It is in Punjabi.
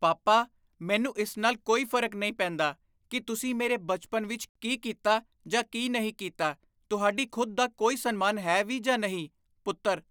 ਪਾਪਾ, ਮੈਨੂੰ ਇਸ ਨਾਲ ਕੋਈ ਫ਼ਰਕ ਨਹੀਂ ਪੈਂਦਾ ਕੀ ਤੁਸੀਂ ਮੇਰੇ ਬਚਪਨ ਵਿੱਚ ਕੀ ਕੀਤਾ ਜਾਂ ਕੀ ਨਹੀਂ ਕੀਤਾ ਤੁਹਾਡੀ ਖੁਦ ਦਾ ਕੋਈ ਸਨਮਾਨ ਹੈ ਵੀ ਜਾਂ ਨਹੀਂ! ਪੁੱਤਰ